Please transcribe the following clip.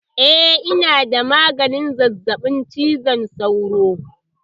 Eh ina da maganin zazzaɓin cizon sauro